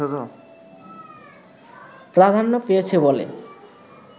প্রাধান্য পেয়েছে বলে